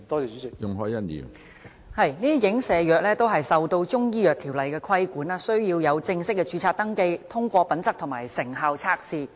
這些影射藥物都受到《中醫藥條例》的規管，需要正式註冊登記、通過品質和成效測試。